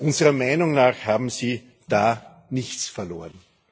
Unserer Meinung nach haben sie da nichts verloren.